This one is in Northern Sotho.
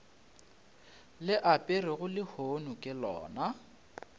le aperego lehono ke lona